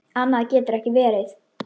Annað getur ekki verið.